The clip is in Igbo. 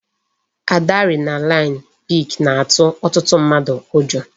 Adrenaline peak na-atụ ọtụtụ mmadụ ụjọ